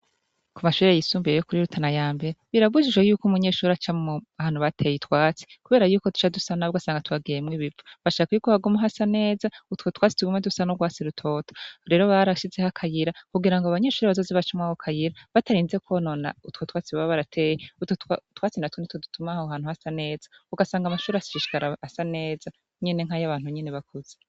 Ku mashurire yisumbiye yo kuri rutana ya mbere birabujijhe yuko umunyeshuri aca mu hantu bateye itwatsi, kubera yuko tuca dusanabwo asanga tubageemwo ibipfo bashaka iyuko hagumu ha sa neza utwotwatsi tugume dusa no rwasi rutota rero barashize aho akayira kugira ngo abanyeshuri bazozi bacumwa ho kayira batarinze kwonona utwa twatsi baba barateye utotwatsi na tunditwo dutumaho hantu hasa na neza ugasanga amashuri ashishikara asa neza nyene nk'ayo'abantu nyene bakuzi.